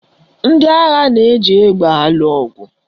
Ndị agha na-eji egbe alụ ọgụ